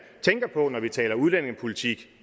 tænker på når man taler udlændingepolitik